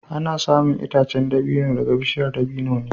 Ana samun itacen dabino daga bishiyar dabino ne